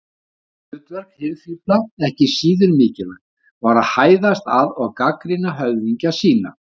Annað hlutverk hirðfífla, ekki síður mikilvægt, var að hæðast að og gagnrýna höfðingja sína.